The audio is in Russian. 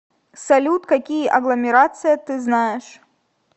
салют какие агломерация ты знаешь